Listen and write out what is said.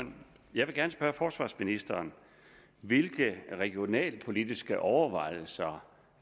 jeg vil gerne spørge forsvarsministeren hvilke regionalpolitiske overvejelser